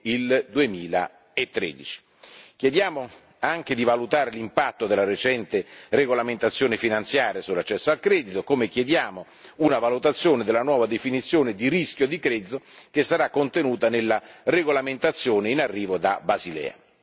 e il 2013. Chiediamo anche di valutare l'impatto della recente regolamentazione finanziaria sull'accesso al credito, come chiediamo una valutazione della nuova definizione di rischio di credito, che sarà contenuta nella regolamentazione in arrivo da Basilea.